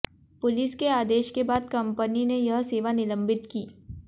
police के आदेश के बाद कंपनी ने यह सेवा निलंबित की